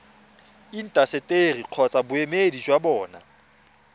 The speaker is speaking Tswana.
intaseteri kgotsa boemedi jwa bona